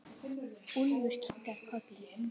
Úlfur kinkar kolli.